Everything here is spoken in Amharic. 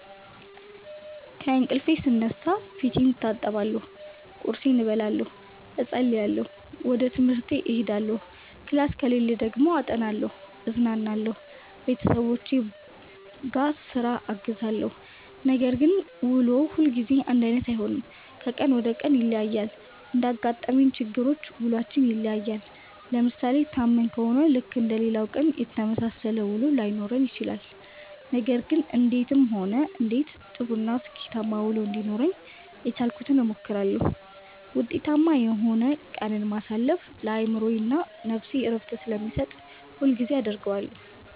ከእንቅልፌ ስነሳ ፌቴን እታጠባለሁ ቁርሴን እበላለሁ እፀልያለሁ ወጀ ትምሀርቴ እሄዳለሁ ክላስ ከሌለኝ ደግሞ አጠናለሁ እዝናናለሁ ቤተሠቦቼን ቧስራ አግዛለሁ። ነገር ግን ውሎ ሁልጊዜ አንዳይነት አይሆንም ከቀን ወደ ቀን ይለያያል። እንዳጋጠመን ችግሮች ውሏችን ይለያያል። ለምሣሌ ታመን ከሆነ ልክ እንደሌላው ቀን የተመሣሠለ ውሎ ላይኖረን ይችላል። ነገር ግን እንዴትም ሆነ እንዴትም ጥሩ እና ስኬታማ ውሎ እንዲኖረኝ የቻልኩትን እሞክራለሁ። ውጤታማ የሆነ ቀንን ማሣለፍ ለአእምሮዬ እና ነፍሴ ዕረፍትን ስለሚሠጥ ሁሌም አደርገዋለሁ።